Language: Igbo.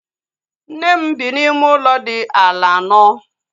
Nne m bi n'ime ụlọ dị ala anọ